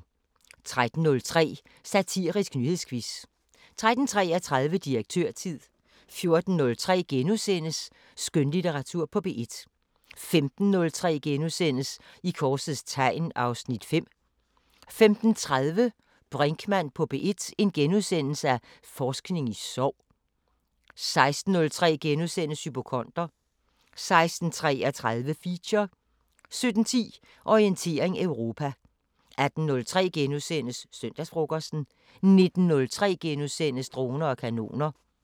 13:03: Satirisk nyhedsquiz 13:33: Direktørtid 14:03: Skønlitteratur på P1 * 15:03: I korsets tegn (Afs. 5)* 15:30: Brinkmann på P1: Forskning i sorg * 16:03: Hypokonder * 16:33: Feature 17:10: Orientering Europa 18:03: Søndagsfrokosten * 19:03: Droner og kanoner *